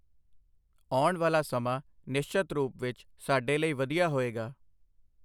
ਆਉਣ ਵਾਲਾ ਸਮਾਂ ਨਿਸ਼ਚਤ ਰੂਪ ਵਿੱਚ ਸਾਡੇ ਲਈ ਵਧੀਆ ਹੋਏਗਾ।